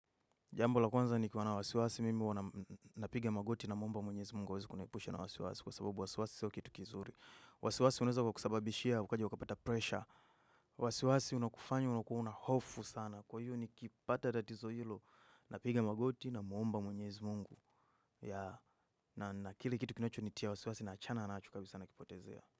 Jambo la kwanza nikiwa na wasiwasi mimi huwa napiga magoti namuomba mwenyezi mungu aweze kuniepusha na wasiwasi kwa sababu wasiwasi sio kitu kizuri. Wasiwasi unaeza ukakusababishia ukaja ukapata pressure. Wasiwasi unakufanya unakuwa na hofu sana. Kwa hiyo nikipata tatizo hilo napiga magoti namuomba mwenyezi mungu. Na kile kitu kinacho nitia wasiwasi naachana nachu kabisa nakipotezea.